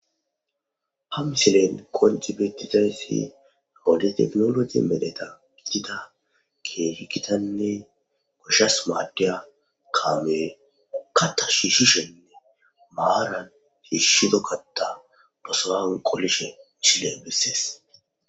Ha misilen qonci bettizayssi ale teknologi medeta gidida keehikitanne goshshas maaddeya kaame pukkata shiishishenne maaran hiishshido katta dosoan qolishe chile gisses.